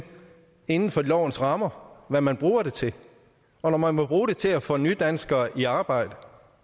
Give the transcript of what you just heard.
inden for lovens rammer hvad man bruger det til og når man må bruge det til at få nydanskere i arbejde